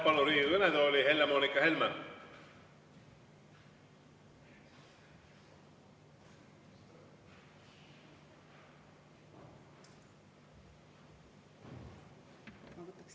Palun Riigikogu kõnetooli Helle-Moonika Helme.